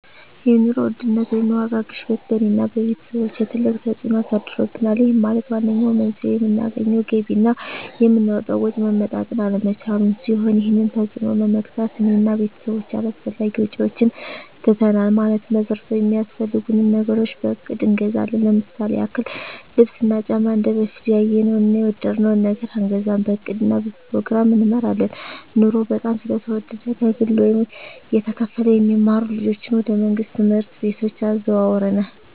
የኑሮ ውድነት ወይም የዋጋ ግሽበት በእኔ እና በቤተሰቦቸ ትልቅ ተፅእኖ አሳድሮብናል ይህም ማለት ዋነኛው መንስኤው የምናገኘው ገቢ እና የምናወጣው ወጪ መመጣጠን አለመቻሉን ሲሆን ይህንን ተፅዕኖ ለመግታት እኔ እና ቤተሰቦቸ አላስፈላጊ ወጪዎችን ትተናል ማለትም መሠረታዊ ሚያስፈልጉንን ነገሮች በእቅድ እንገዛለን ለምሳሌ ያክል ልብስ እና ጫማ እንደበፊቱ ያየነውን እና የወደድነውን ነገር አንገዛም በእቅድ እና በፕሮግራም እንመራለን ኑሮው በጣም ስለተወደደ ከግለ ወይም እየተከፈለ የሚማሩ ልጆችን ወደ መንግሥት ትምህርት ቤቶች አዘዋውረናል